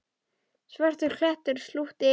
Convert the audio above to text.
Svartur klettur slútti yfir.